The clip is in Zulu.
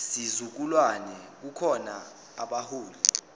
sizukulwane kukhona abaholi